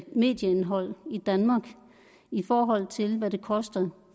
medieindhold i danmark i forhold til hvad det koster